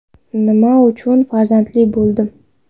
Nima uchun farzandli bo‘ldim?